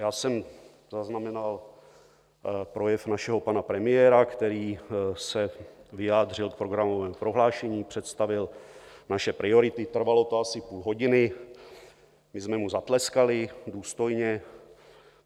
Já jsem zaznamenal projev našeho pana premiéra, který se vyjádřil k programovému prohlášení, představil naše priority, trvalo to asi půl hodiny, my jsme mu zatleskali důstojně.